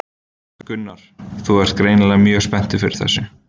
Gunnar: Þú ert greinilega mjög spenntur fyrir þessu?